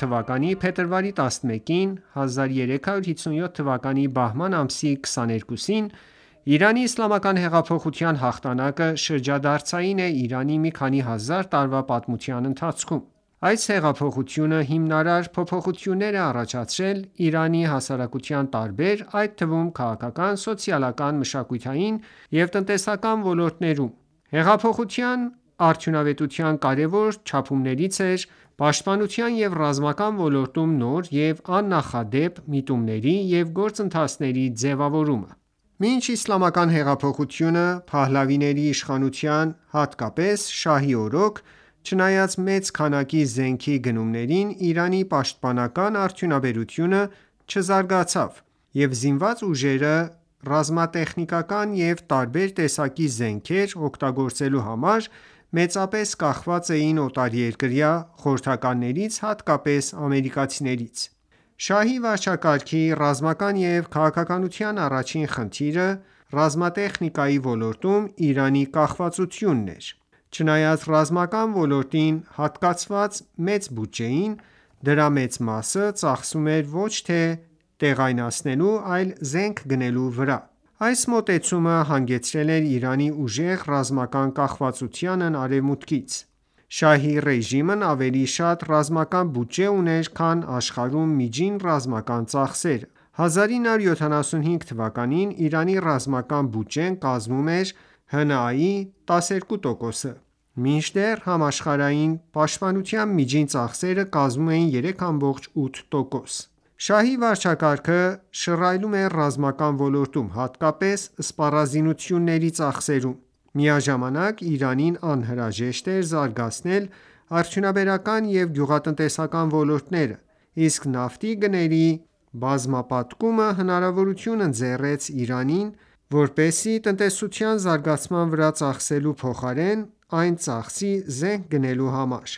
թվականի փետրվարի 11-ին (1357 թվականի բահման ամսի 22-ին) Իրանի իսլամական հեղափոխության հաղթանակը շրջադարձային է Իրանի մի քանի հազար տարվա պատմության ընթացքում: Այս հեղափոխությունը հիմնարար փոփոխություններ է առաջացրել Իրանի հասարակության տարբեր, այդ թվում՝ քաղաքական, սոցիալական, մշակութային եւ տնտեսական ոլորտներում։ Հեղափոխության արդյունավետության կարևոր չափումներից էր պաշտպանության և ռազմական ոլորտում նոր և աննախադեպ միտումների և գործընթացների ձևավորումը։ Մինչ Իսլամական հեղափոխությունը, փահլավիների իշխանության հատկապես Շահի օրոք, չնայած մեծ քանակի զենքի գնումներին Իրանի պաշտպանական արդյունաբերությունը չզարգացավ, և զինված ուժերը ռազմակատեխնիկա և տարբեր տեսակի զենքեր օգտագործելու համար մեծապես կախված էին օտարերկրյա խորհրդականներից, հատկապես ամերիկացիներից։ Շահի վարչակարգի ռազմական և քաղաքականության առաջին խնդիրը ռազմատեխնիկայի ոլորտում Իրանի կախվածությունն էր։ Չնայած ռազմական ոլորտին հատկացված մեծ բյուջեին, դրա մեծ մասը ծախսվում էր ոչ թե տեղայնացնելու, այլ զենք գնելու վրա։ Այս մոտեցումը հանգեցրել էր Իրանի ուժեղ ռազմական կախվածությանն Արևմուտքից։ Շահի ռեժիմն ավելի շատ ռազմական բյուջե ուներ, քան աշխարհում միջին ռազմական ծախսերը։ 1975 թվականին Իրանի ռազմական բյուջեն կազմում էր ՀՆԱ-ի 12 տոկոսը, մինչդեռ համաշխարհային պաշտպանության միջին ծախսերը կազմում էին 3,8 տոկոս: Շահի վարչակարգը շռայլում էր ռազմական ոլորտում, հատկապես սպառազինությունների ծախսերում։ Միաժամանակ Իրանին անհրաժեշտ էր զարգացնել արդյունաբերական ու գյուղատնտեսական ոլորտները, իսկ նավթի գների բազմապատկումը հնարավորություն ընձեռեց Իրանին: Այդ հնարավորությունը տնտեսության զարգացման վրա ծախսելու փոխարեն ծախսվեց զենք գնելու համար։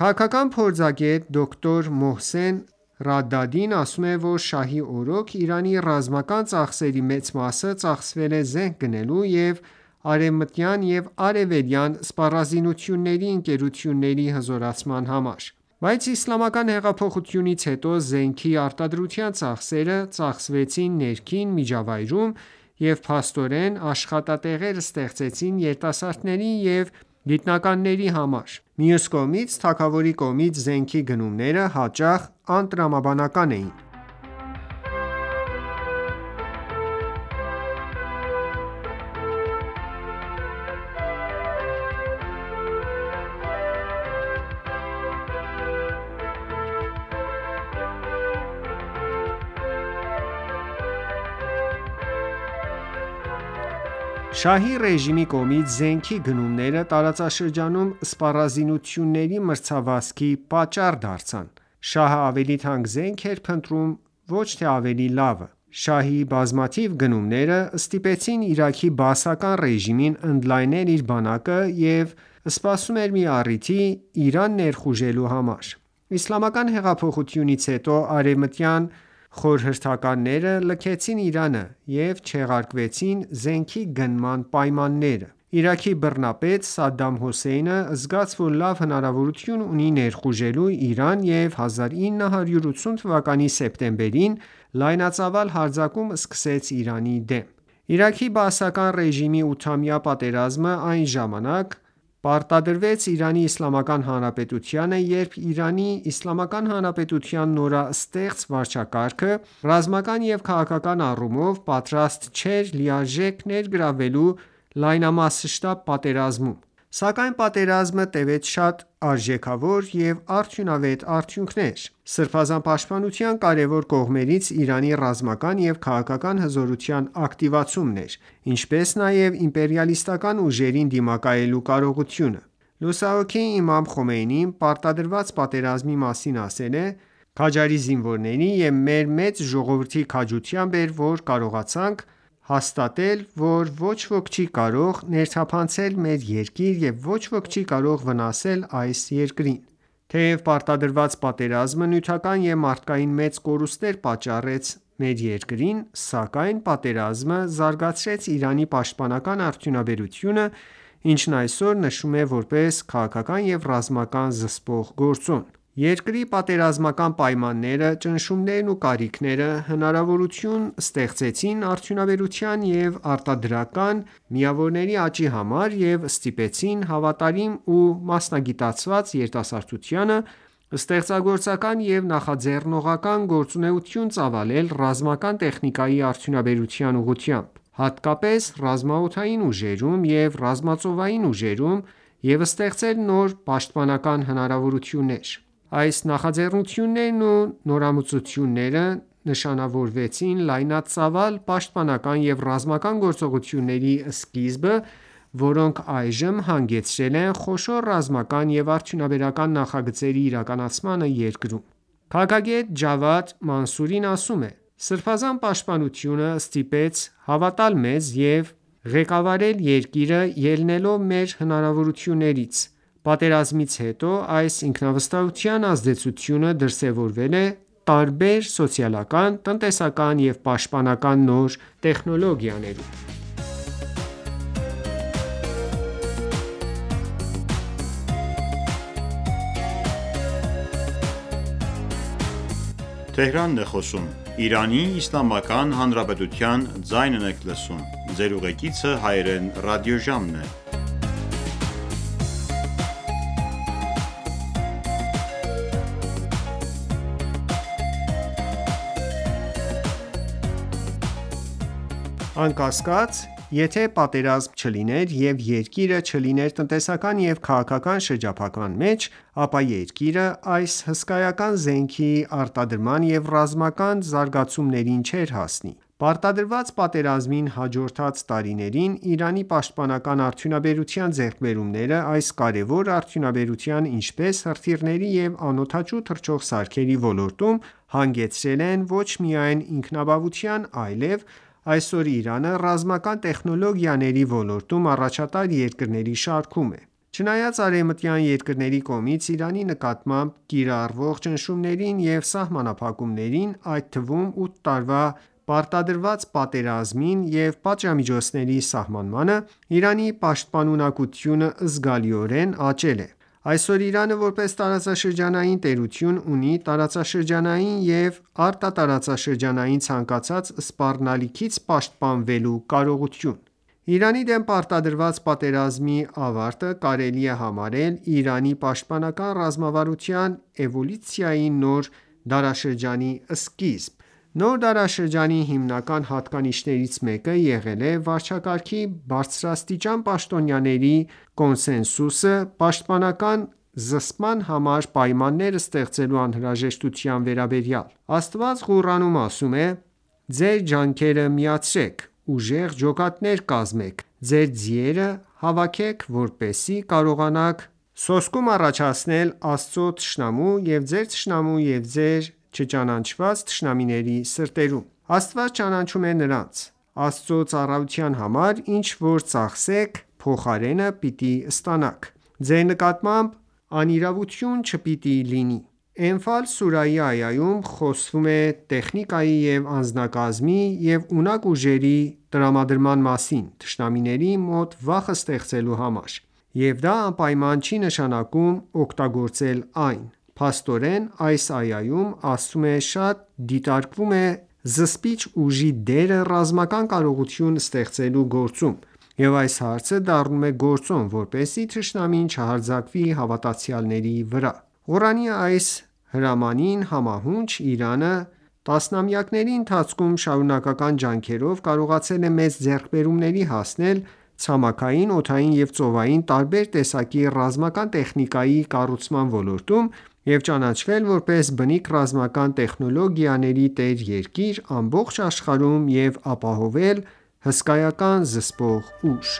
Քաղաքական փորձագետ, դոկտոր Մոհսեն Ռադադին ասում է, որ շահի օրոք Իրանի ռազմական ծախսերի մեծ մասը ծախսվել է զենք գնելու և արևմտյան և արևելյան սպառազինությունների ընկերությունների հզորացման վրա։ Բայց Իսլամական հեղափոխությունից հետո զենքի արտադրության ծախսերը ծախսվեցին ներքին միջավայրում, և փաստորեն աշխատատեղեր ստեղծվեցին երիտասարդների և գիտնականների համար: Մյուս կողմից, թագավորի կողմից զենքի գնումները հաճախ անտրամաբանական էին։ Նա «ավելի թանկ» զենք էր փնտրում, ոչ թե ավելի լավը։ Շահի ռեժիմի կողմից զենքի գնումները տարածաշրջանում սպառազինությունների մրցավազքի պատճառ դարձան: Շահի բազմաթիվ գնումները ստիպեցին Իրաքի բաասական ռեժիմին ընդլայնել իր բանակը և սպասում էր մի առիթի Իրան ներխուժելու համար: Իսլամական հեղափոխությունից հետո արևմտյան խորհրդականները լքեցին Իրանը և չեղարկվեցին զենքի գնման պայմանագրերը։ Իրաքի բռնապետ Սադամ Հոսեյնը զգաց, որ լավ հնարավորություն ունի ներխուժելու Իրան և 1980 թվականի սեպտեմբերին լայնածավալ հարձակում սկսեց Իրանի դեմ: Իրաքի բաասական ռեժիմի ութամյա պատերազմը այն ժամանակ պարտադրվեց Իրանի Իսլամական Հանրապետությանը, երբ, Իրանի Իսլամական Հանրապետության նորաստեղծ վարչակարգը, ռազմական և քաղաքական առումով պատրաստ չէր լիարժեք ներգրավվելու լայնամասշտաբ պատերազմում։ Սակայն պատերազմը տվեց շատ արժեքավոր և արդյունավետ արդյունքներ։ Սրբազան պաշտպանության կարևոր կողմերից Իրանի ռազմական և քաղաքական հզորության ակտիվացումն էր, ինչպես նաև իմպերիալիստական ուժերին դիմակայելու կարողությունը: Լուսահոգի Իմամ Խոմեյնին պարտադրված պատերազմի մասին ասել է. «Քաջարի զինվորների և մեր մեծ ժողովուրդի քաջությամբ էր որ կարողացանք հաստատել, որ ոչ ոք չի կարող ներթափանցել մեր երկիր և ոչ ոք չի կարող վնասել այս երկրին»: Թեև պարտադրված պատերազմը նյութական և մարդկային մեծ կորուստներ պատճառեց մեր երկրին, սակայն պատերազմը զարգացրեց Իրանի պաշտպանական արդյունաբերությունը, ինչն այսօր նշվում է, որպես քաղաքական և ռազմական զսպող գործոն։ Երկրի պատերազմական պայմանները, ճնշումներն ու կարիքները հնարավորություն ստեղծեցին արդյունաբերության և արտադրական միավորների աճի համար և ստիպեցին հավատարիմ ու մասնագիտացված երիտասարդությանը, ստեղծագործական և նախաձեռնողական գործունեություն ծավալել ռազմական տեխնիկայի արտադության ուղղությամբ, հատկապես ռազմաօդային ուժերում և ռազմածովային ուժերում և ստեղծել նոր պաշտպանական հնարավորություններ: Այս նախաձեռնություններն ու նորամուծությունները նշանավորեցին լայնածավալ պաշտպանական և ռազմական գործողությունների սկիզբը, որոնք այժմ հանգեցրել են խոշոր ռազմական և արդյունաբերական նախագծերի իրականացմանը երկրում: Քաղաքագետ Ջավադ Մանսուրին ասում է. «Սրբազան պաշտպանությունը ստիպեց հավատալ մեզ և ղեկավարել երկիրը՝ ելնելով մեր հնարավորություններից: Պատերազմից հետո այս ինքնավստահության ազդեցությունը դրսևորվել է տարբեր սոցիալական, տնտեսական և պաշտպանական նոր տեխնոլոգիաներում: Անկասկած եթե պատերազմ չլիներ, և երկիրը չլիներ տնտեսական և քաղաքական շրջափակման մեջ, ապա երկիրը այս հսկայական զենքի արտադրման ու ռազմական զարգացումներին չէր հասնի: Պարտադրված պատերազմին հաջորդած տարիներին Իրանի պաշտպանական արդյունաբերության ձեռքբերումները այս կարևոր արդյունաբերության՝ ինչպես հրթիռների և անօդաչու թռչող սարքերի ոլորտում հանգեցրել են ոչ միայն ինքնաբավության այլև այսօր Իրանը ռազմական տեխնոլոգիաների ոլորտում առաջատար երկրների շարքում է։ Չնայած արևմտյան երկրների կողմից Իրանի նկատմամբ կիրառվող ճնշումներին և սահմանափակումներին, այդ թվում՝ ութ տարվա պարտադրված պատերազմին և պատժամիջոցների սահմանմանը, Իրանի պաշտպանունակությունը զգալիորեն աճել է։ Այսօր Իրանը, որպես տարածաշրջանային տերություն, ունի տարածաշրջանային և արտատարածաշրջանային ցանկացած սպառնալիքից պաշտպանվելու կարողություն։ Իրանի դեմ պարտադրված պատերազմի ավարտը կարելի է համարել Իրանի պաշտպանական ռազմավարության էվոլյուցիայի նոր դարաշրջանի սկիզբ։ Նոր դարաշրջանի հիմնական հատկանիշներից մեկը եղել է վարչակարգի բարձրաստիճան պաշտոնյաների կոնսենսուսը պաշտպանական զսպման համար պայմաններ ստեղծելու անհրաժեշտության վերաբերյալ: Աստված Ղուրանում ասում է. «Ձեր ջանքերը միացրեք, ուժեղ ջոկատներ կազմեք, ձեր ձիերը հավաքեք, որպեսզի կարողանաք սոսկում առաջացնել Աստծո թշնամու ու ձեր թշնամու և ձեր չճանաչած թշնամիների սրտերում: Աստված ճանաչում է նրանց: Աստծո ծառայության համար ինչ որ ծախսեք, փոխարենը պիտի ստանաք: Ձեր նկատմամբ անիրավություն չպիտի լինի:»։ Էնֆալ սուրահի այայում խոսվում է տեխնիկայի և անձնակազմի և ունակ ուժերի տրամադրման մասին՝ թշնամիների մոտ վախ ստեղծելու համար։ Եվ դա անպայման չի նշանակում օգտագործել այն: Փաստորեն, այս այայում ավելի շատ դիտարկվում է զսպիչ ուժի դերը ռազմական կարողություն ստեղծելու գործում և այս հարցը դառնում է գործոն, որպեսզի թշնամին չհարձակվի հավատացյալների վրա։ Ղուրանի այս հրամանին համահունչ Իրանը տասնամյակների ընթացքում շարունակական ջանքերով կարողացել է մեծ ձեռքբերումների հասնել ցամաքային, օդային և ծովային տարբեր տեսակի ռազմական տեխնիկայի կառուցման ոլորտում և ճանաչվել որպես բնիկ ռազմական տեխնոլոգիաների տեր երկիր ամբողջ աշխարհում և ապահովել հսկայական զսպող ուժ։